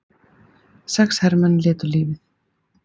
Sex hermenn létu lífið